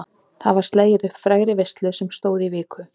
Og það var slegið upp frægri veislu sem stóð í viku.